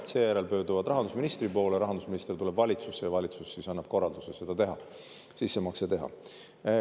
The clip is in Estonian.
Seejärel nad pöörduvad rahandusministri poole, rahandusminister tuleb valitsusse ja valitsus siis annab korralduse sissemakse teha.